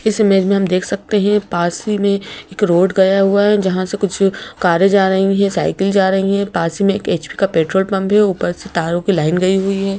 इस इमेज में हम देख सकते हैं पास ही में एक रोड गया हुआ है जहां से कुछ कारे जा रही है साइकिल जा रही है पास में एक एच_पी का पेट्रोल पंप है ऊपर से तारों की लाइन गई हुई है।